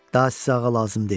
Daha sizə ağa lazım deyil.